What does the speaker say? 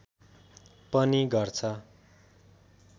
पनि गर्छ